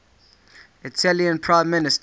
italian prime minister